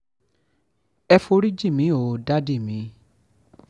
ẹ forí jìn mí o dádì mi